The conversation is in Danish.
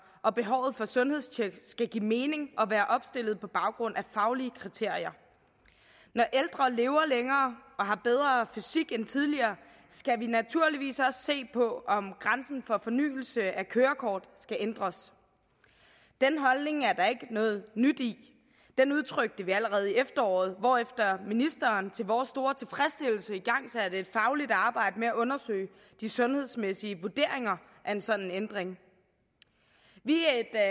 og behovet for sundhedstjek skal give mening og opstilles på baggrund af faglige kriterier når ældre lever længere og har bedre fysik end tidligere skal vi naturligvis også se på om grænsen for fornyelse af kørekort skal ændres den holdning er der ikke noget nyt i den udtrykte vi allerede i efteråret hvorefter ministeren til vores store tilfredsstillelse igangsatte et fagligt arbejde med at undersøge de sundhedsmæssige vurderinger af en sådan ændring vi